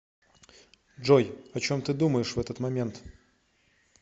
джой о чем ты думаешь в этот момент